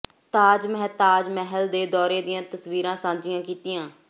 ਤਾਜ ਮਹਿਤਾਜ ਮਹਿਲ ਦੇ ਦੌਰੇ ਦੀਆਂ ਤਸਵੀਰਾਂ ਸਾਂਝੀਆਂ ਕੀਤੀਆਂ